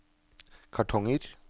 kartonger